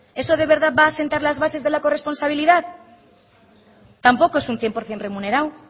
eso de verdad va a asentar las bases de la corresponsabilidad tampoco es un cien por ciento remunerado